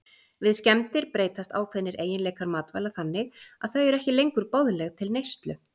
Við skemmdir breytast ákveðnir eiginleikar matvæla þannig að þau eru ekki lengur boðleg til neyslu.